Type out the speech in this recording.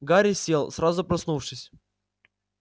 гарри сел сразу проснувшись